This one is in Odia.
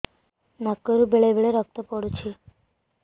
ନାକରୁ ବେଳେ ବେଳେ ରକ୍ତ ପଡୁଛି